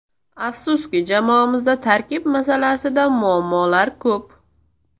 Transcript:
Afsuski, jamoamizda tarkib masalasida muammolar ko‘p.